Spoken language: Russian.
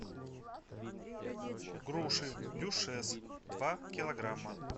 груши дюшес два килограмма